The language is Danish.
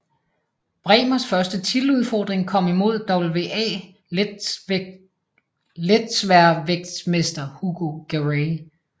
Brähmers første titeludfordring kom imod WBA letsværvægtsmester Hugo Garay